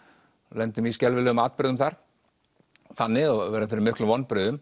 lendum í skelfilegum atburðum þar þannig verðum fyrir miklum vonbrigðum